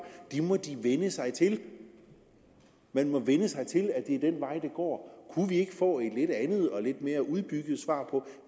det må de vænne sig til man må vænne sig til at det er den vej det går kunne vi ikke få et andet og lidt mere udbygget svar på